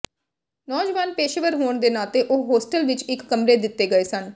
ਨੌਜਵਾਨ ਪੇਸ਼ੇਵਰ ਹੋਣ ਦੇ ਨਾਤੇ ਉਹ ਹੋਸਟਲ ਵਿਚ ਇਕ ਕਮਰੇ ਦਿੱਤੇ ਗਏ ਸਨ